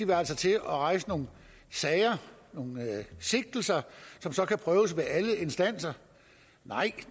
vi altså til at rejse nogle sager nogle sigtelser som så kan prøves ved alle instanser nej